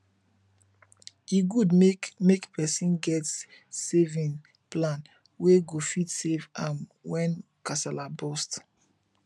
e good make make persin get saving plan wey go fit save am when kasala burst